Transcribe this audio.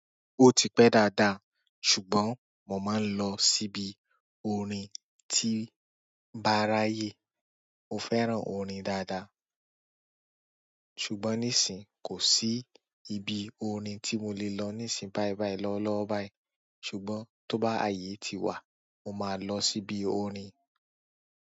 Ó ti pẹ́ dáàdáà, ṣùgbọ́n mò máa ń lọ síbi òrin tí bá ráyè. Mò fẹ́ràn orin dáadáa, ṣùgbọ́n nísìń kò sí ibi òrin tí mò lè lọ nísìń báibái lọ́wọ́lọ́wọ́ báì. Ṣùgbọ́n tó bá ààyè ti wà, mò máà lọ síbi òrin.